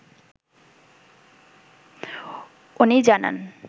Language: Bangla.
ওনি জানান